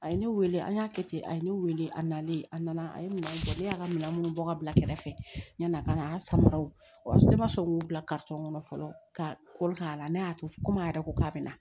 A ye ne wele an y'a kɛ ten a ye ne wele a nalen a nana a ye minɛn ne y'a ka minɛn minnu bɔ ka bila kɛrɛfɛ yanni a ka na an samaraw o ma sɔn u y'u bila kɔnɔ fɔlɔ ka kɔrɔ k'a la ne y'a to komi a yɛrɛ ko k'a bɛna